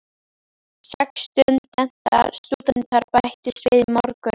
Sex stúdentar bættust við í morgun.